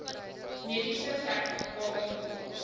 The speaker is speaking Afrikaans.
mediese sertifikaat invul